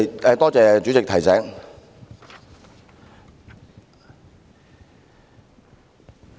謝謝主席提醒。